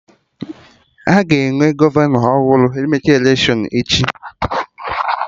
Aga enwe gọvanọ ọhụrụ ma emecha electiọnụ echi?